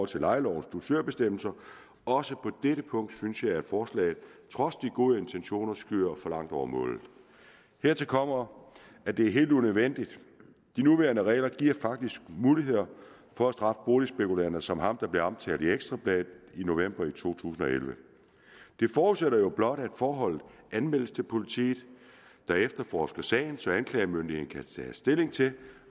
til lejelovens dusørbestemmelse også på dette punkt synes jeg at forslaget trods de gode intentioner skyder for langt over målet hertil kommer at det er helt unødvendigt de nuværende regler giver faktisk mulighed for at straffe boligspekulanter som ham der blev omtalt i ekstra bladet i november to tusind og elleve det forudsætter jo blot at forholdet anmeldes til politiet der efterforsker sagen så anklagemyndigheden kan tage stilling til